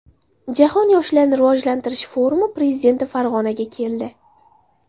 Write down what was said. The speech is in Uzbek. Jahon yoshlarni rivojlantirish forumi prezidenti Farg‘onaga keldi.